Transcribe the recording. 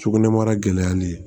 Sugunɛbara gɛlɛyali